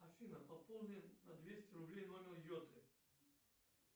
афина пополни на двести рублей номер йоты